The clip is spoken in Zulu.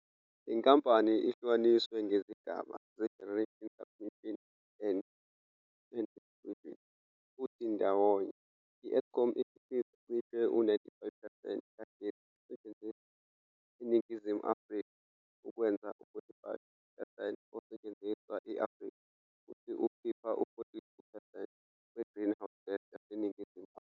Le nkampani ihlukaniswe ngezigaba ze-Generation, Transmission and Distribution, futhi ndawonye i-Eskom ikhiqiza cishe u-95 percent kagesi osetshenziswa eNingizimu Afrika, okwenza u-45 percent osetshenziswa e-Afrika, futhi ikhipha u-42 percent we-greenhouse gas yaseNingizimu Afrika.